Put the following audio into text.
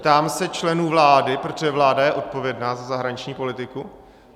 Ptám se členů vlády, protože vláda je odpovědná za zahraniční politiku.